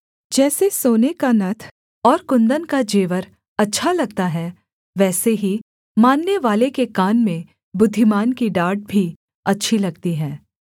जैसे सोने का नत्थ और कुन्दन का जेवर अच्छा लगता है वैसे ही माननेवाले के कान में बुद्धिमान की डाँट भी अच्छी लगती है